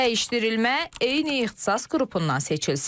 Dəyişdirilmə eyni ixtisas qrupundan seçilsin.